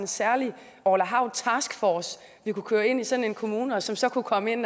særlig orla hav taskforce vi kunne køre ind i sådan en kommune og som så kunne komme ind